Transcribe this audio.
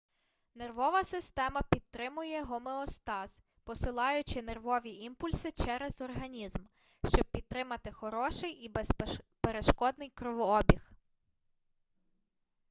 нервова система підтримує гомеостаз посилаючи нервові імпульси через організм щоб підтримати хороший і безперешкодний кровообіг